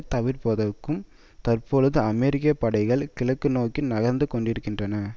தவிர்ப்பதற்கும் தற்போலுது அமெரிக்க படைகள் கிழக்கு நோக்கி நகர்ந்து கொண்டிருக்கின்றன